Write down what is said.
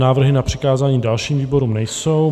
Návrhy na přikázání dalším výborům nejsou.